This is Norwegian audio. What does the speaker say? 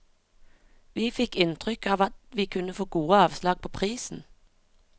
Vi fikk inntrykk av at vi kunne få gode avslag på prisen.